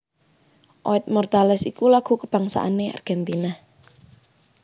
Oid Mortales iku lagu kabangsané Argentina